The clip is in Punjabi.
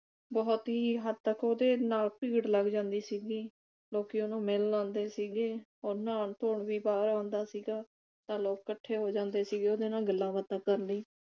ਬਹੁਤ ਹੀ ਹੱਦ ਤੱਕ ਉਹਦੇ ਨਾਲ ਭੀੜ ਲੱਗ ਜਾਂਦੀ ਸੀਗੀ। ਲੋਕੀ ਉਹਨੂੰ ਮਿਲਣ ਆਉਂਦੇ ਸੀਗੇ। ਉਹ ਨਾਉਣ ਧੋਣ ਵੀ ਬਾਹਰ ਆਂਦਾ ਸੀਗਾ ਤਾਂ ਲੋਕ ਇਕੱਠੇ ਹੋ ਜਾਂਦੇ ਸੀ ਗੇ ਉਹਦੇ ਨਾਲ ਗੱਲਾਂ ਬਾਤਾਂ ਕਰਨ ਲਈ